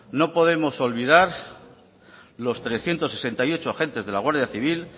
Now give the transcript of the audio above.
no podemos olvidar los trescientos sesenta y ocho agentes de la guardia civil